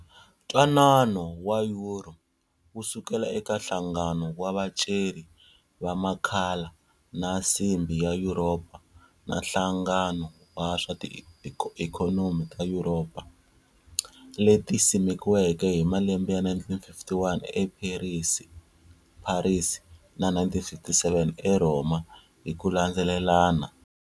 Ntwanano wa Yuro, wu sukela eka nhlangano wa vaceri va makhala na Nsimbhi va Yuropa na Nhlangano wa swa ti ikhonomi ta Yuropa, leti simekiweke hi malembe ya 1951 e Pharisi na 1957 e Rhoma hikulandzelelana.